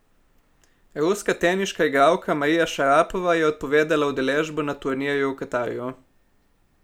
Ruska teniška igralka Marija Šarapova je odpovedala udeležbo na turnirju v Katarju.